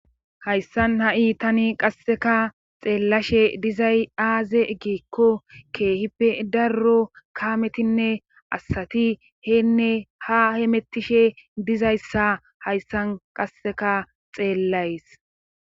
hayssan ha'i tani qasseka xeellashe dizay aaze giikko keehippe darro kaametinne asati heenne ha hemettishe dizayssa hayssan qasseka xeellays